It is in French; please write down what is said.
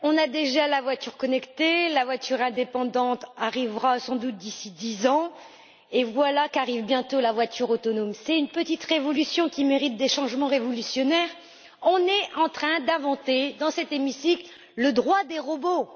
Monsieur le Président, chers collègues, on a déjà la voiture connectée, la voiture indépendante arrivera sans doute d'ici à dix ans, et voilà qu'arrive bientôt la voiture autonome. C'est une petite révolution qui mérite des changements révolutionnaires. On est en train d'inventer, dans cet hémicycle, le droit des robots.